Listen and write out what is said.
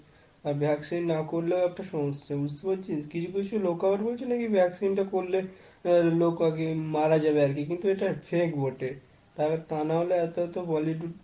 আর vaccine না করলেও একটা সমস্যা বুঝতেই পারছিস? কিছু কিছু লোক আবার বলছে নাকি vaccine টা করলে লোক নাকি মারা যাবে, কিন্তু এটা fake বটে তা না হলে এত এত bollywood